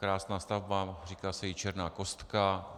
Krásná stavba, říká se jí Černá kostka.